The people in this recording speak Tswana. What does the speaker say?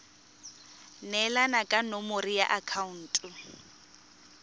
neelana ka nomoro ya akhaonto